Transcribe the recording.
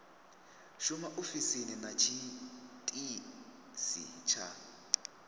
shuma ofisini na tshiitisi tsha